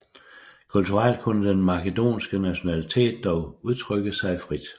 Kulturelt kunne den makedonske nationalitet dog udtrykke sig frit